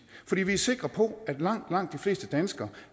fordi vi er sikre på at langt langt de fleste danskere